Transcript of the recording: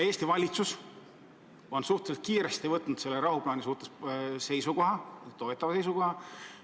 Eesti valitsus on suhteliselt kiiresti võtnud selle rahuplaani suhtes toetava seisukoha.